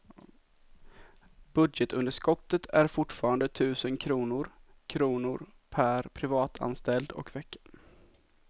Budgetunderskottet är fortfarande tusen kronor kronor per privatanställd och vecka.